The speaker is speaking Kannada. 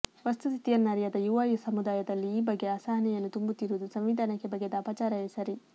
ವಸ್ತು ಸ್ಥಿತಿಯನ್ನರಿಯದ ಯುವ ಸಮುದಾಯದಲ್ಲಿ ಈ ಬಗ್ಗೆ ಅಸಹನೆಯನ್ನು ತುಂಬುತ್ತಿರುವುದು ಸಂವಿಧಾನಕ್ಕೆ ಬಗೆದ ಅಪಚಾರವೇ ಸರಿ